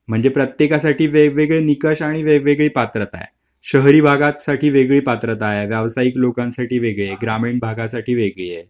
म्हणजे प्रत्येकासाठी वेगवेगळ्या निकष आणि वेगवेगळ्या पात्र आहेत. शाहिरी भागांसाठी वेगवेगळी पात्रता आहे व्यवसाहिक लोकांसाठी वेगळी ग्रामीण भागांसाठी वेगळी